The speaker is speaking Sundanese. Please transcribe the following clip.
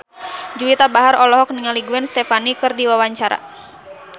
Juwita Bahar olohok ningali Gwen Stefani keur diwawancara